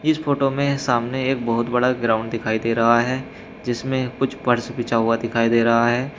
इस फोटो में सामने एक बहोत बड़ा ग्राउंड दिखाई दे रहा है जिसमें कुछ फर्श बिछा हुआ दिखाई दे रहा है।